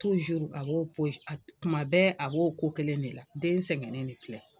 Tuma bɛɛ ?a b'o ko kelen de la ,den sɛngɛlen de filɛ.